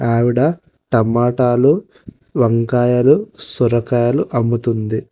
ఆవిడ టమాటాలు వంకాయలు సొరకాయలు అమ్ముతుంది.